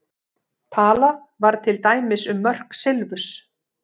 Talað var til dæmis um mörk silfurs.